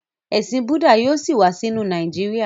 Ẹsìn Budda yíò sí wá sínú Nàìjíríà